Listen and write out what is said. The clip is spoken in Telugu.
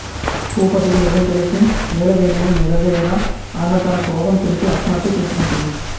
భూపతికి నిజం తెలిసి నీలవేణిని నిలదీయగా ఆమె తన క్రోధం తెలిపి ఆత్మహత్య చేసుకుంటుంది